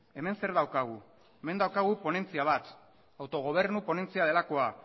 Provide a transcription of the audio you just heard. hemen zer daukagu hemen daukagu ponentzia bat autogobernu ponentzia delakoa